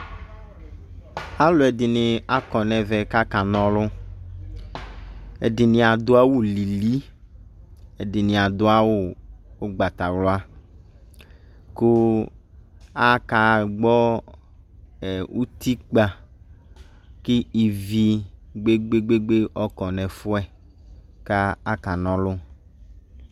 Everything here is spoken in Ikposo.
Aluɛde ne akɔ nɛvɛ ko akaaka na ɔlu Ɛdene ado awulili, ɛdene ado awu ugbatawla ko akaa gbɔ ɛɛ utikpa ke ivi gbegbegbegbe ɔkɔ nɛfiɛ ka aka na ɔlu